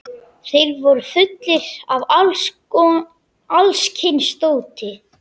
Þeir voru fullir af alls kyns dóti.